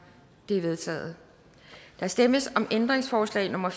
de er vedtaget der stemmes om ændringsforslag nummer